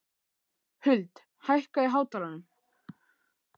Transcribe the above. Huld, hækkaðu í hátalaranum.